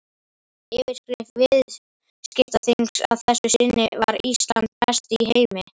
Yfirskrift viðskiptaþings að þessu sinni var Ísland besti í heimi?